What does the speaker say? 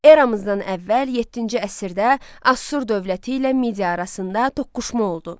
Eramızdan əvvəl yeddinci əsrdə Asur dövləti ilə Midiya arasında toqquşma oldu.